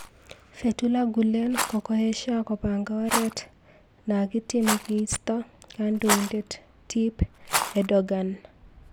Fetullah Gulen kokoeshia kopanga oret nakityeme keistoo kandoindet Tyyip Erdogan.